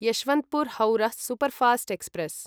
यशवन्त्पुर् हौरः superfast express